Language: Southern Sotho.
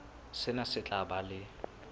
sena se tla ba le